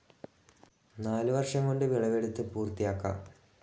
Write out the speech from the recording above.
നാലുവർഷം കൊണ്ട് വിളവെടുത്ത് പൂർത്തിയാക്കാം.